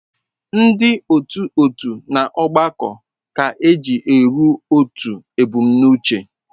Ndị otu otu na-agbakọ aka iji ruo otu ebumnuche.